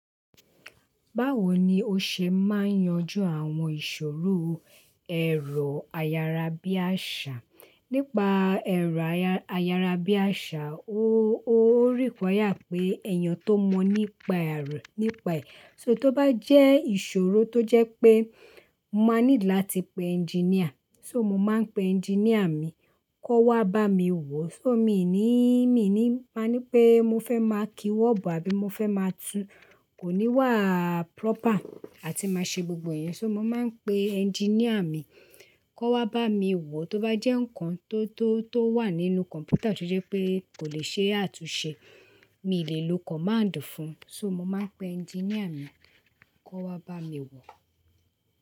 Báwo ni ó ṣe máa ń yanjú àwọn ìṣòro ẹ̀rọ ayárabíàṣá? Nípa ẹ̀rọ ayárabíàṣá, ó, ó require pé eeyan tó mọ̀ nípa ẹ̀, nípa ẹ̀. So tó bá jẹ́ ìṣòro tó jẹ́ pé mo máa need láti pe ẹnginíà, so mo máa ń pe ẹnginíà mi kó wá bá mi wò. So mì ní, mì ní, máa ní pé mo fẹ́ máa ki wọ́ọ̀bù àbí mo fẹ́ máa tún, kò ní wà proper àti máa ṣe gbogbo ẹ̀yẹn. So mo máa ń pe ẹnginíà mi kó wá bá mi wò. Tó bá jẹ́ nǹkan tó, tó, tó wà nínú kọ̀mpútà tí ó jẹ́ pé kò lè ṣe àtúnṣe, mi ò lè lo command fún un. So mo máa ń pe ẹnginíà mi kó wá bá mi wò.